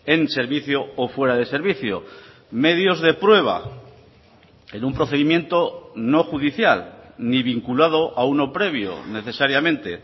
en servicio o fuera de servicio medios de prueba en un procedimiento no judicial ni vinculado a uno previo necesariamente